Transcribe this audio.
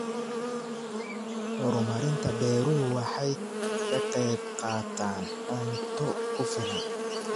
Horumarinta beeruhu waxay ka qaybqaataan cunto ku filan.